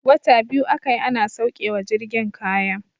Wata biyu aka yi ana sauke wa jirgin kaya.